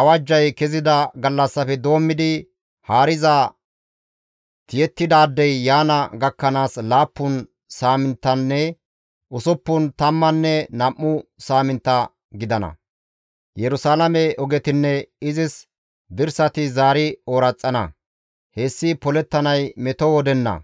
awajjay kezida gallassafe doommidi haariza tiyettidaadey yaana gakkanaas laappun saaminttanne usuppun tammanne nam7u saamintta gidana; Yerusalaame ogetinne izis dirsati zaari ooraxana; hessi polettanay meto wodenna.